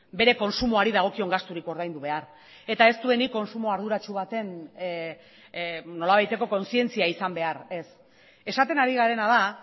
bere kontsumoari dagokion gasturik ordaindu behar eta ez duenik kontsumo arduratsu baten nolabaiteko kontzientzia izan behar ez esaten ari garena da